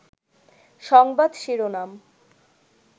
সংবাদ শিরোনাম